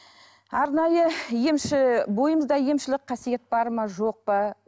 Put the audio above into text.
арнайы емші бойымызда емшілік қасиет бар ма жоқ па